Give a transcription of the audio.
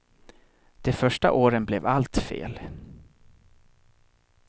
De första åren blev allt fel.